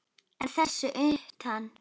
En þess utan?